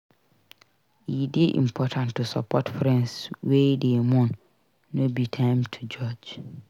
E dey important to support friends wey dey mourn; no be time to judge.